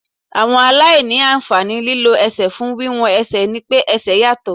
Àwọn aláìní àǹfààní lílọ ẹsẹ̀ fún wíwọ́n ẹsẹ̀ ni pé ẹsẹ̀ yàtọ̀.